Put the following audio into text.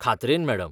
खात्रेन, madam